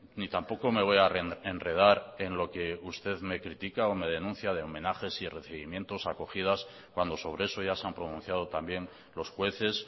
ni tampoco me voy a enredar en lo que usted me critica o me denuncia de homenajes y recibimientos acogidas cuando sobre eso ya se han pronunciado también los jueces